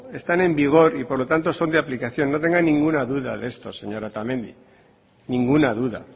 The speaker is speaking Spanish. están en vigor y por lo tanto son de aplicación no tenga ninguna duda de esto señora otamendi ninguna duda